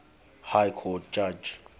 high court judge